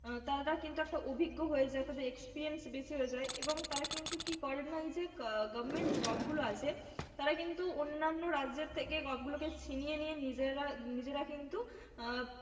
উম তারা কিন্তু একটা অভিজ্ঞ হয়ে যায়, তাদের experience বেশি হয়ে যায় এবং তারা কিন্তু কি করে না এই যে government job গুলো আছে তারা কিন্তু অন্যান্য রাজ্যের থেকে job গুলোকে ছিনিয়ে নিয়ে নিজেরা, নিজেরা কিন্তু আহ